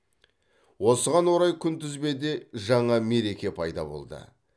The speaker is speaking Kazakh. осыған орай күнтізбеде жаңа мереке пайда болды